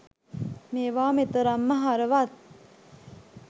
මේවා මෙතරම්ම හරවත්